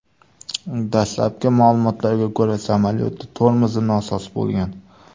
Dastlabki ma’lumotlarga ko‘ra, samolyotning tormozi nosoz bo‘lgan.